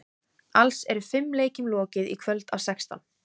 Alls eru fimm leikjum lokið í kvöld af sextán.